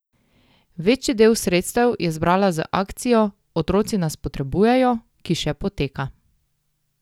Večji del sredstev je zbrala z akcijo Otroci nas potrebujejo, ki še poteka.